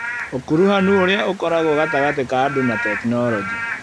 Ũkuruhanu ũrĩa ũkoragwo gatagatĩ ka andũ na tekinoronjĩ